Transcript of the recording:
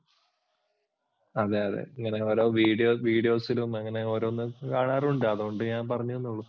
അതെ അതെ ഇങ്ങനെ ഓരോ videos ഉം അങ്ങനെ ഓരോന്നും കാണാറുണ്ട്, അതുകൊണ്ടു ഞാൻ പറഞ്ഞെന്നെ ഉള്ളു.